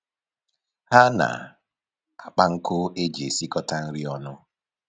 Ha na-akpa nkụ e ji esikọta nri ọnụ